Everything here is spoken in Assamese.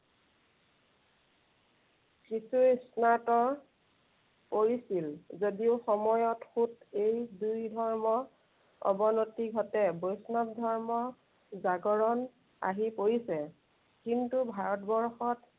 কিছু স্নাত কৰিছিল। যদিও সময়ত সোঁত এই দুই ধৰ্ম অৱনিত ঘটে। বৈষ্ণৱ ধৰ্মৰ জাগৰণ আহি পৰিছে। কিন্তু ভাৰতবৰ্ষত